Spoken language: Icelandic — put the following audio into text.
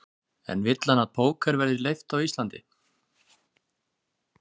En vill hann að póker verði leyft á Íslandi?